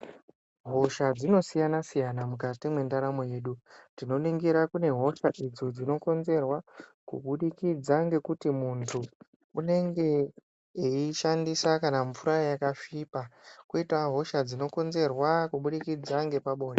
Hosha dzinosiyana siyana mukati mendaramo yedu. Tinoningira kune hosha idzo dzinokonzerwa kubudikidza nekuti muntu unenge eyishandisa kana mvura yakasvipa koitawo hosha dzinokonzerwa kubudikidza nepabonde.